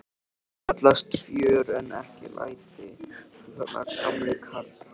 Það kallast fjör en ekki læti, þú þarna gamli karl.